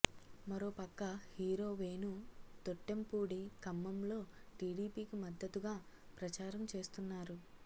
మరో పక్క హీరో వేణు తొట్టెంపూడి ఖమ్మంలో టీడీపీకి మద్దతుగా ప్రచారం చేస్తున్నారు